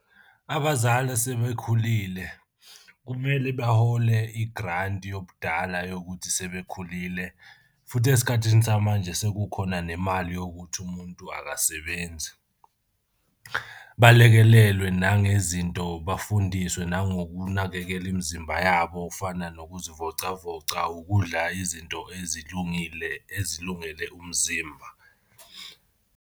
Abazali asebekhulile kumele bahole igranti yobudala yokuthi sebekhulile futhi esikhathini samanje sekukhona nemali yokuthi umuntu akasebenzi. Balekelelwe nangezinto bafundiswe nangokunakekela imizimba yabo fana nokuzivocavoca, ukudla izinto ezilungile ezilungele umzimba.